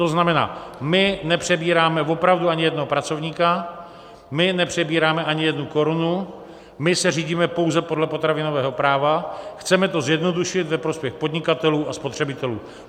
To znamená, my nepřebíráme opravdu ani jednoho pracovníka, my nepřebíráme ani jednu korunu, my se řídíme pouze podle potravinového práva, chceme to zjednodušit ve prospěch podnikatelů a spotřebitelů.